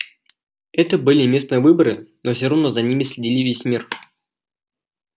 это были местные выборы но все равно за ними следили весь мир